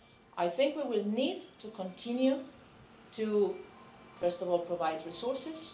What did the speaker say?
I think we will need to continue to, first of all, provide resources.